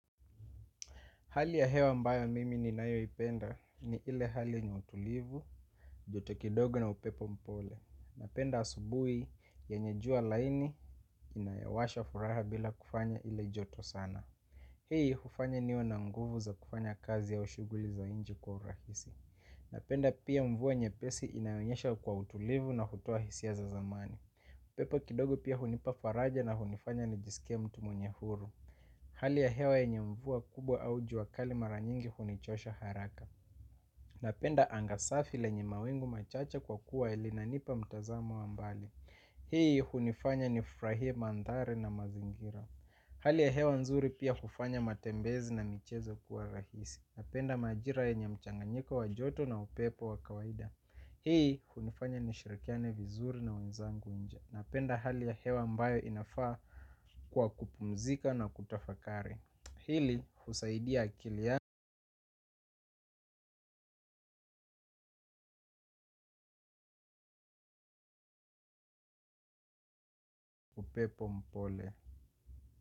Hali ya hewa ambayo mimi ni nayo ipenda ni ile hali ye nye utulivu, joto kidogo na upepo mpole. Napenda asubui yenye jua laini inayowasha furaha bila kufanya ile joto sana. Hii hufanya ni we na nguvu za kufanya kazi au shuguli za inje kwa urahisi. Napenda pia mvua nye pesi inayo nyesha kwa utulivu na hutoa hisia za zamani. Upepo kidogo pia hunipa faraja na hunifanya nijisike mtu mwenye huru. Hali ya hewa yenye mvua kubwa au jua kali mara nyingi hunichosha haraka. Napenda anga safi lenye mawingu machache kwa kuwa elinanipa mtazamo wa mbali. Hii hunifanya ni frahie mandhari na mazingira. Hali ya hewa nzuri pia hufanya matembezi na michezo kuwa rahisi. Napenda majira yenye mchanganyiko wa joto na upepo wakawaida. Hii hunifanya nishirikiane vizuri na wenzangu nje. Na penda hali ya hewa ambayo inafaa kwa kupumzika na kutafakari hili husaidia akili ya upepo mpole.